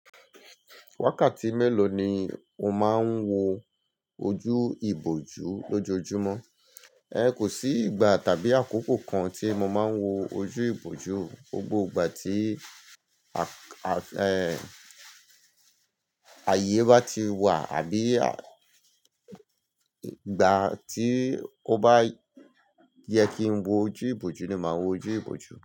Wákàtí mélòó ni o máa ń wo ojú ìbòjú lójoojúmọ́? Ẹ̀kó sí ìgbà tàbí àkókò kan tí mo máa ń wo ojú ìbòjú. Gbogbo ìgbà tí a-a-ẹ́ àyé bá ti wà àbí à ìgbà tí ó bá yẹ kí n wo ojú ìbòjú ni màá wo ojú ìbòjú.